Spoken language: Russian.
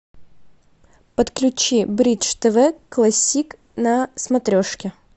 подключи бридж тв классик на смотрешке